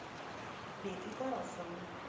петей тарасовым